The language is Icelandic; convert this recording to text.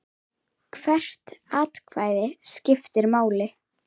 Hvert atkvæði skiptir máli.